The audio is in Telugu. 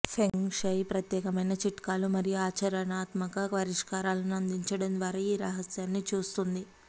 ఫెంగ్ షుయ్ ప్రత్యేకమైన చిట్కాలు మరియు ఆచరణాత్మక పరిష్కారాలను అందించడం ద్వారా ఈ రహస్యాన్ని చూస్తుంది